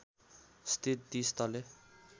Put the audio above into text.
स्थित ३० तले